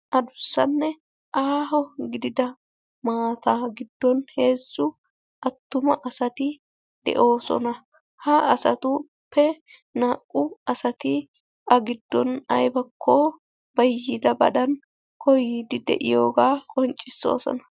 Adussanne aaho gidida maataa giddon heezzu attuma asati de'oosona. Ha asatuppe naa'u asati a giddon aybakko bayyidabadan koyyiiddi de'iyogaa qonccissoosona.